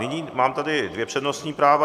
Nyní tady mám dvě přednostní práva.